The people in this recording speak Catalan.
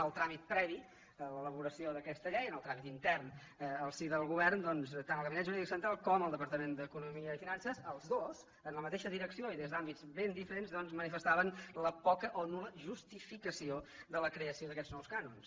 en el tràmit previ a l’elaboració d’aquesta llei en el tràmit intern al si del govern doncs tant el gabinet jurídic central com el departament d’economia i finances els dos en la mateixa direcció i des d’àmbits ben diferents manifes·taven la poca o nul·la justificació de la creació d’aquests nous cànons